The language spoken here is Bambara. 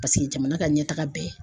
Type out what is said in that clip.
Paseke jamana ka ɲɛtaga bɛ